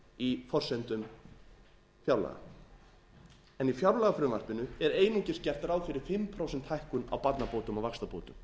í forsendum fjárlaga en í fjárlagafrumvarpinu er einungis gert ráð fyrir fimm prósenta hækkun á barnabótum og vaxtabótum